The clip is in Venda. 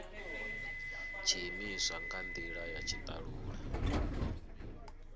tshiimiswa nga ndila ya tshitalula